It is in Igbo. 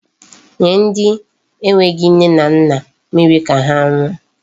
Nye ndi enweghi nne na nna mmiri ka ha ṅụọ.